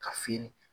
Ka fin